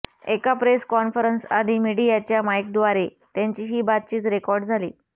एका प्रेस कॉन्फरन्सआधी मीडियाच्या माईकद्वारे त्यांची ही बातचीत रेकॉर्ड झाली